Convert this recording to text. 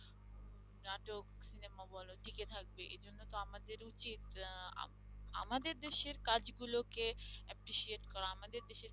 নাটক-সিনেমা বল টিকে থাকবে এই জন্য তো আমাদের উচিত আহ আমাদের দেশের কাজ কাজগুলোকে appreciate করা আমাদের দেশের